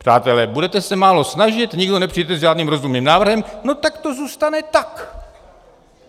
Přátelé, budete se málo snažit, nikdo nepřijdete s žádným rozumným návrhem, no tak to zůstane tak.